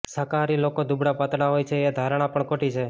શાકાહારી લોકો દુબળા પાતળા હોય છે એ ધારણા પણ ખોટી છે